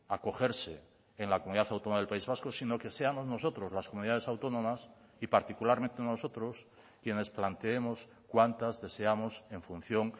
acogerse en la comunidad autónoma del país vasco sino que seamos nosotros las comunidades autónomas y particularmente nosotros quienes planteemos cuántas deseamos en función